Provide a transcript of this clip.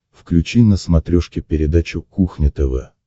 включи на смотрешке передачу кухня тв